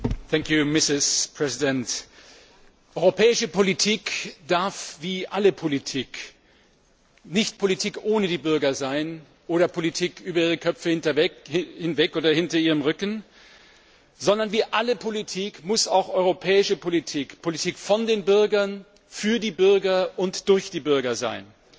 Frau Präsidentin! Europäische Politik darf wie alle Politik nicht Politik ohne die Bürger sein oder Politik über ihre Köpfe hinweg oder hinter ihrem Rücken, sondern wie alle Politik muss auch europäische Politik Politik von den Bürgern, für die Bürger und durch die Bürger sein.